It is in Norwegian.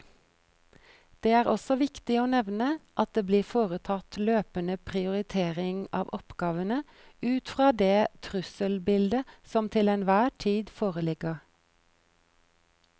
Det er også viktig å nevne at det blir foretatt løpende prioritering av oppgavene ut fra det trusselbildet som til enhver tid foreligger.